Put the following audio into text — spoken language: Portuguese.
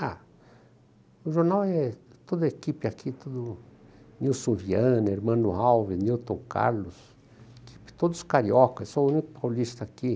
Ah, o jornal é toda a equipe aqui, que, Nilson Vianna, Emmanuel Alves, Nilton Carlos, todos os cariocas, sou o único paulista aqui.